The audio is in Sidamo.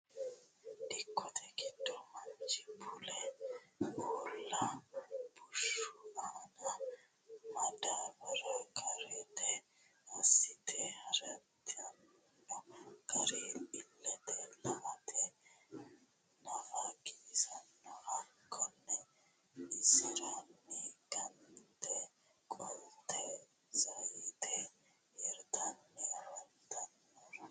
dikotte giddo manicho bulee uula bushu aanna madabara karitte asite hiritanno gari ilete la'atte nafa giwisanno hakonno iseranni gonnete qolitte zayiite hiritanni afantannohura.